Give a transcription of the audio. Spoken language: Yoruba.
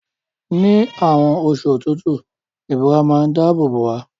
Ni àwon osu òtútù, ìbora má n dáábò bò wá